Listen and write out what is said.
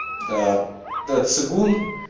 да-да цигун